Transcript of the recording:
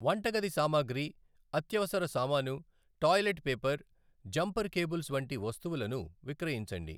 వంటగది సామాగ్రి, అత్యవసర సామాను, టాయిలెట్ పేపర్, జంపర్ కేబుల్స్ వంటి వస్తువులను విక్రయించండి.